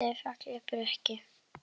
Bjarti, fallegi Breki.